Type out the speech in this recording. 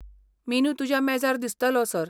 Menu तुज्या मेजार दिसतलो, सर .